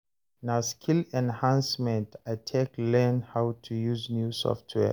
Na skill enhancement I take learn how to use new software.